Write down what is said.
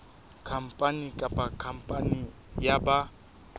khampani kapa khampani ya ba